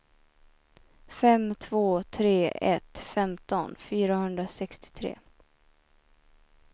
fem två tre ett femton fyrahundrasextiotre